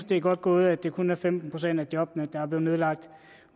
det er godt gået at det kun er femten procent af jobbene der er blevet nedlagt